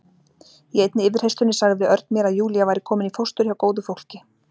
Í einni yfirheyrslunni sagði Örn mér að Júlía væri komin í fóstur hjá góðu fólki.